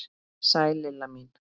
Sæl Lilla mín!